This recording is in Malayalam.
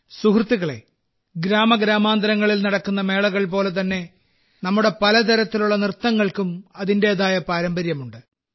സുഹൃത്തുക്കളേ ഗ്രാമഗ്രാമാന്തരങ്ങളിൽ നടക്കുന്ന മേളകൾ പോലെതന്നെ നമ്മുടെ പലതരത്തിലുള്ള നൃത്തങ്ങൾക്കും അതിന്റേതായ പാരമ്പര്യമുണ്ട്